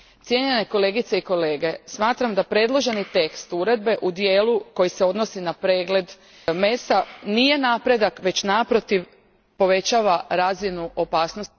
Cijenjene kolegice i kolege, smatram da predloženi tekst uredbe u dijelu koji se odnosi na pregled mesa nije napredak već, naprotiv, povećava razinu opasnosti.